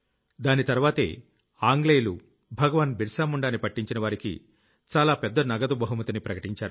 దాని తర్వాతే ఆంగ్లేయులు భగవాన్ బిరసా ముండ్ ని పట్టించిన వారికి చాలా పెద్ద నగదు బహుమతిని ప్రకటించారు